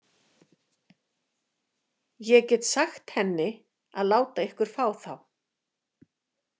Ég get sagt henni að láta ykkur fá þá.